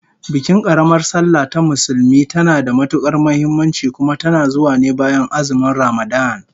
Bikin karamar sallah ta Musulmi tana da matukar muhimmanci, kuma tana zuwa ne bayan azumin Ramadan